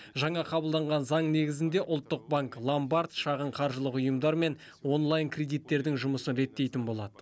жаңа қабылданған заң негізінде ұлттық банк ломбард шағын қаржылық ұйымдар мен онлайн кредиттердің жұмысын реттейтін болады